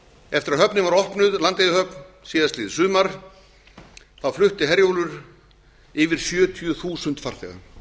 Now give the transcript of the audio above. eftir að landeyjahöfn var opnuð síðastliðið sumar flutti herjólfur yfir sjötíu þúsund farþega